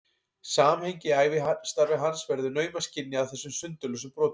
Samhengið í ævistarfi hans verður naumast skynjað af þessum sundurlausu brotum.